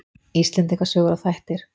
Íslendinga sögur og þættir.